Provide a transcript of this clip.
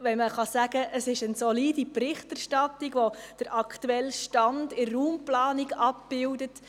Es ist schon schön, wenn man sagen kann, es handle sich um eine solide Berichterstattung, die den aktuellen Stand in der Raumplanung abbildet.